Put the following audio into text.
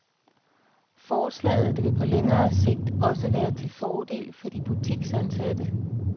Forslaget vil på længere sigt også være til fordel for de butiksansatte.